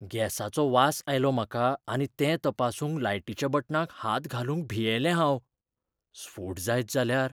गॅसाचो वास आयलो म्हाका आनी तें तपासूंक लायटीच्या बटनाक हात घालूंक भियेलें हांव. स्फोट जायत जाल्यार!